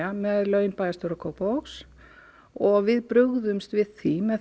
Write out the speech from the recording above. með laun bæjarstjóra Kópavogs og við brugðumst við því með